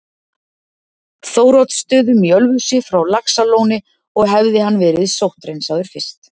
Þóroddsstöðum í Ölfusi frá Laxalóni og hefði hann verið sótthreinsaður fyrst.